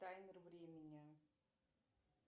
таймер времени